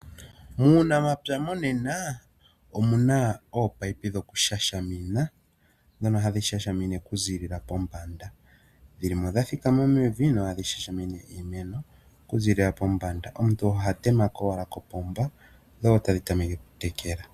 Muunamapya monena omuna ominino dhoku shashamina dhono hadhi shashamine okuzilila pombanda, dhilimo dhathikama mevi na ohadhi shashamine iimeno okuzilila pombanda. Omuntu ohatemeko owala kopomba dho tadhi tameke okutekela.